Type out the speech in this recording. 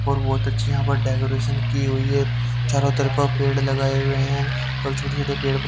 और बहुत अच्छी यहां पर डेकोरेशन की हुई है चारों तरफा पेड़ लगाए हुए हैं और छोटे छोटे पेड़ --